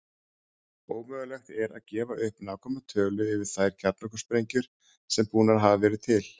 Ómögulegt er að gefa upp nákvæma tölu yfir þær kjarnorkusprengjur sem búnar hafa verið til.